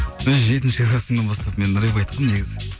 і жетінші классымнан бастап мен рэп айтқанмын негізі